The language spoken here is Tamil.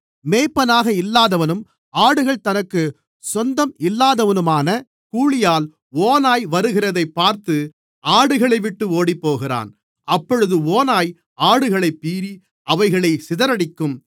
மேய்ப்பனாக இல்லாதவனும் ஆடுகள் தனக்குச் சொந்தம் இல்லாதவனுமான கூலியாள் ஓநாய் வருகிறதைப் பார்த்து ஆடுகளைவிட்டு ஓடிப்போகிறான் அப்பொழுது ஓநாய் ஆடுகளைப்பீறி அவைகளைச் சிதறடிக்கும்